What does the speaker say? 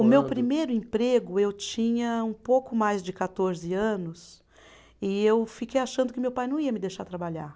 O meu primeiro emprego, eu tinha um pouco mais de quatorze anos e eu fiquei achando que meu pai não ia me deixar trabalhar.